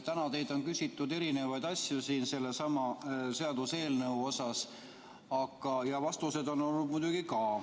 Täna teilt on küsitud erinevaid asju sellesama seaduseelnõu kohta ja vastuseid on muidugi ka.